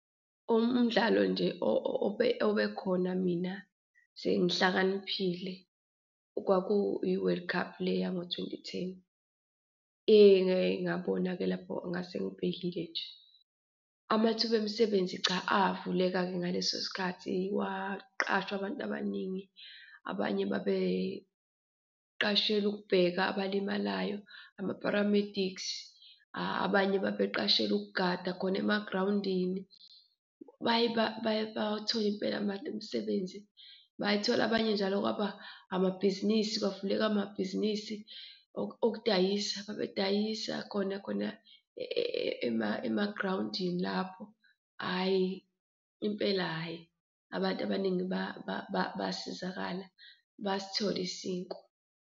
Umdlalo nje obekhona mina sengihlakaniphile kwakuyi-World Cup le yango-twenty-ten, engake ngabona-ke lapho ngase ngibhekile nje. Amathuba emisebenzi cha avuleka-ke ngaleso sikhathi, kwaqashwa abantu abaningi, abanye babeqashelwe ukubheka abalimalayo, ama-paramedics, abanye babeqashelwe ukugada khona emagrawundini, baye bawathola impela abantu imisebenzi. Bayithola abanye njalo kwaba amabhizinisi, kwavuleka amabhizinisi okudayisa, babedayisa khona khona emagrawundini lapho. Ayi impela hhayi, abantu abaningi basizakala, basithola isinkwa.